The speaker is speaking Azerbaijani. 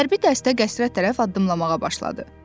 Hərbi dəstə qəsrə tərəf addımlamağa başladı.